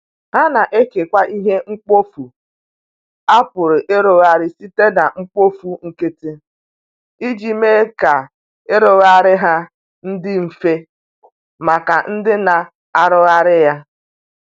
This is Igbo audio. ha na ekewa ihe mkpọfụ a pụrụ irụghari site na mkpofụ nkiti ijii mee ka irughari ha ndi mfe maka ndi na arughari ya